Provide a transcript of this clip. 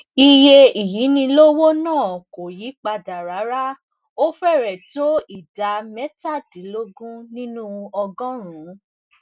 iye ìyínilówó náà kò yí padà rárá ó férèé tó ìdá métàdínlógún nínú ọgọrùnún